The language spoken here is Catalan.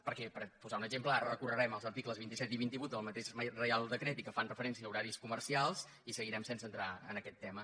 perquè per posar ne un exemple ara recorrerem els articles vint set i vint vuit del mateix reial decret i que fan referència a horaris comercials i seguirem sense entrar en aquest tema